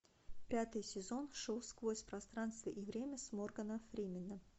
пятый сезон шоу сквозь пространство и время с морганом фрименом